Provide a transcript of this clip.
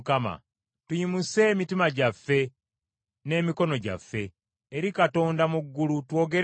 Tuyimuse emitima gyaffe n’emikono gyaffe eri Katonda mu ggulu, twogere nti,